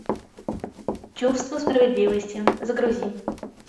чувство справедливости загрузи